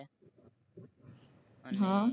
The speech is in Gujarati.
અને હ